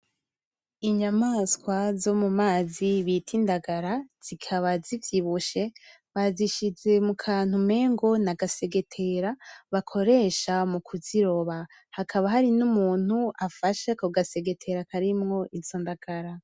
Inyamaswa zo mumazi bita indagara, zikaba zivyibushe, bazishize mu kantu umengo n’agasegetera bakoresha mu kuziroba hakaba hari n’umuntu afashe ako gasegetera karimwo izo ndagara.